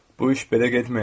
Bu iş belə getməyəcək.